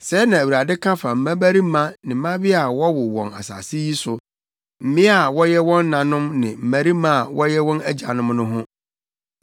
Sɛɛ na Awurade ka fa mmabarima ne mmabea a wɔwo wɔn asase yi so; mmea a wɔyɛ wɔn nanom ne mmarima a wɔyɛ wɔn agyanom no ho: